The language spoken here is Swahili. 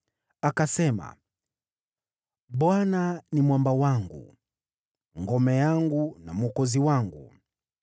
Akasema: “ Bwana ni mwamba wangu, ngome yangu na mwokozi wangu,